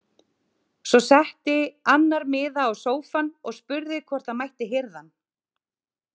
Svo setti annar miða á sófann og spurði hvort hann mætti hirða hann.